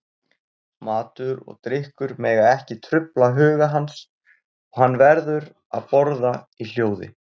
Matur og drykkur mega ekki trufla huga hans, og hann verður að borða í hljóði.